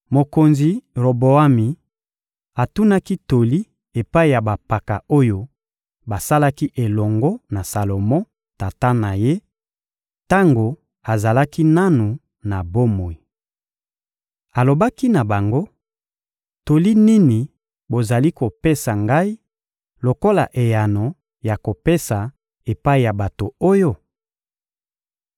Mokonzi Roboami atunaki toli epai ya bampaka oyo basalaki elongo na Salomo, tata na ye, tango azalaki nanu na bomoi. Alobaki na bango: — Toli nini bozali kopesa ngai lokola eyano ya kopesa epai ya bato oyo?